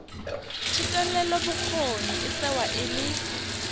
thetelelobokgoni e tsewa e le